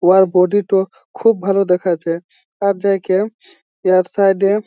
উহার বডি -টো খুব ভালো দেখাচ্ছে আর দেখেন ইহার সাইড -এ--